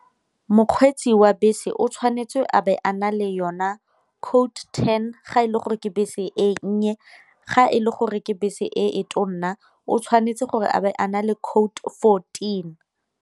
Mokgweetsi wa bese o tshwanetse a be a na le yona code ten ga e le gore ke bese e nnye, ga e le gore ke bese e tona o tshwanetse gore a be a na le code fourteen.